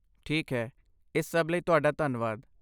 ਠੀਕ ਹੈ, ਇਸ ਸਭ ਲਈ ਤੁਹਾਡਾ ਧੰਨਵਾਦ।